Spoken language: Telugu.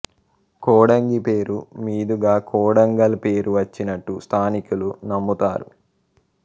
కొడంగి పేరు మీదుగా కొడంగల్ పేరు వచ్చినట్లు స్థానికులు నమ్ముతారు